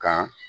Kan